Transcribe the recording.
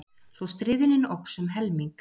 Svo stríðnin óx um helming.